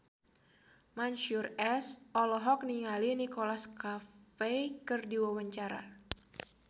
Mansyur S olohok ningali Nicholas Cafe keur diwawancara